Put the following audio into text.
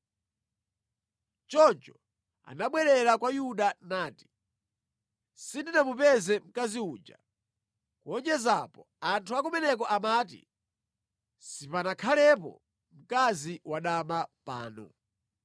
Choncho anabwerera kwa Yuda nati, “Sindinamupeze mkazi uja. Kuwonjeza apo, anthu a kumeneko amati, ‘Sipanakhalepo mkazi wadama pano.’ ”